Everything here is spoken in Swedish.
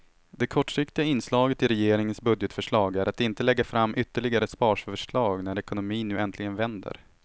Det kortsiktiga inslaget i regeringens budgetförslag är att inte lägga fram ytterligare sparförslag när ekonomin nu äntligen vänder.